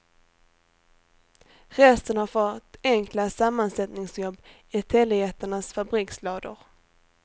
Resten har fått enkla sammansättningsjobb i telejättarnas fabrikslador.